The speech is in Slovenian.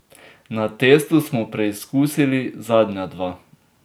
Na testu smo preizkusili zadnja dva.